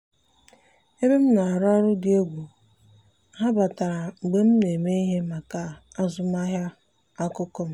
ebe m na-arụ ọrụ dị egwu—ha batara mgbe m na-eme ihe maka azụmahịa akụkụ m.